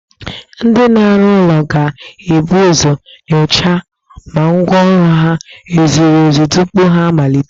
Ndị na-arụ ụlọ ga-ebu uzo nyochaa ma ngwa ọrụ ha e zuru ezu tupu ha amalite